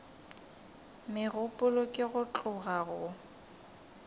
megopolo ke go tloga go